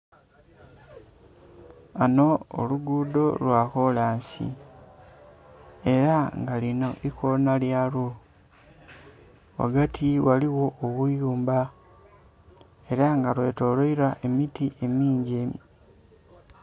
Ghano oluguudo lwa kolansi. Ela nga linho ikoona lyalwo. Ghagati ghaligho obuyumba ela lwetoloilwa emiti emingi